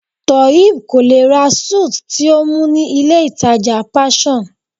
Toheeb kò lè ra suit tí ó mú ní ilé ìtàjà Passion.